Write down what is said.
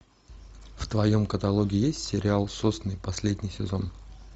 в твоем каталоге есть сериал сосны последний сезон